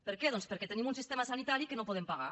per què doncs perquè tenim un sistema sanitari que no podem pagar